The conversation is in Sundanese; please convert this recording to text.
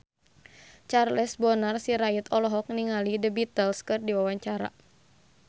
Charles Bonar Sirait olohok ningali The Beatles keur diwawancara